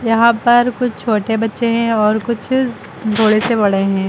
यहां पर कुछ छोटे बच्चे हैं और कुछ थोड़े से बड़े हैं।